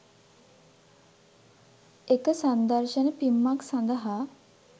එක සංදර්ශන පිම්මක් සඳහා